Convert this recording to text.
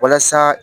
Walasa